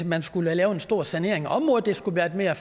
man skulle lave en stor sanering af området det skulle være et mere